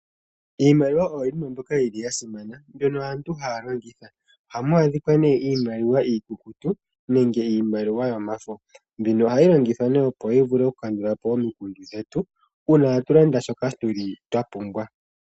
Iimaliwa oyo yimwe mbyoka yi li ya simana, mbyono aantu haya longitha. Ohamu adhikwa nee iimaliwa iikukutu nenge iimaliwa yomafo, mbino ohayi longithwa nee opo yi vule okukandula po omikundu dhetu uuna a tu landa shoka tu li twa pumbwa.